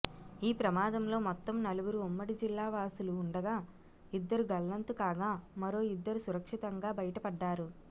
ఈ ప్రమాదంలో మొత్తం నలుగురు ఉమ్మడి జిల్లా వాసులు ఉండగా ఇద్దరు గల్లంతు కాగా మరో ఇద్దరు సురక్షితంగా బయటపడ్డారు